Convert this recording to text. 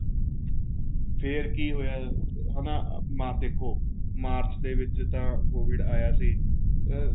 ਫ਼ੇਰ ਕੇ ਹੋਇਆ ਹਨਾ ਆਹ ਦੇਖੋ ਮਾਰਚ ਦੇ ਵਿੱਚ ਤਾਂ COVID ਆਇਆ ਸੀ ਅਹ